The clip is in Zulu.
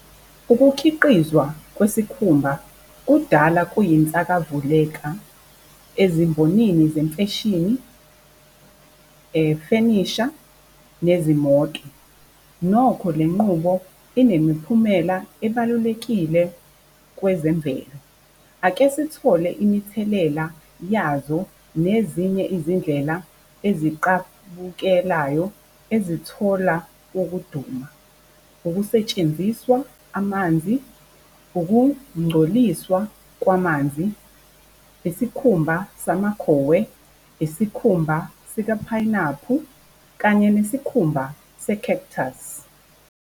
Ukukhiqizwa kwesikhumba kudala kuyinsakavuleka ezimbonini zemfeshini, fenisha, nezimoto. Nokho lenqubo inemiphumela ebalulekile kwezemvelo. Ake sithole imithelela yazo nezinye izindlela eziqabukelayo ezithola ukuduma. Ukusetshenziswa amanzi, ukungcoliswa kwamanzi, isikhumba samakhowe, isikhumba sika phayinaphu kanye nesikhumba se-cactus.